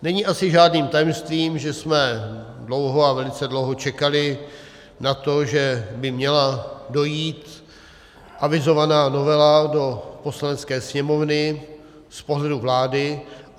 Není asi žádným tajemstvím, že jsme dlouho, a velice dlouho, čekali na to, že by měla dojít avizovaná novela do Poslanecké sněmovny z pohledu vlády.